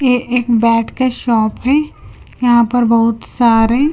ये एक बैट का शॉप हैं यहां पर बहुत सारे--